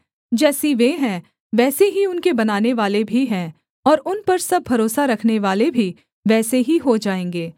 जैसी वे हैं वैसे ही उनके बनानेवाले भी हैं और उन पर सब भरोसा रखनेवाले भी वैसे ही हो जाएँगे